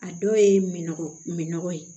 A dɔw ye min nɔgɔ ye